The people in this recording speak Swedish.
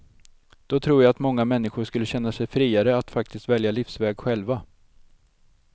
Då tror jag att många människor skulle känna sig friare att faktiskt välja livsväg själva.